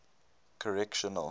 correctional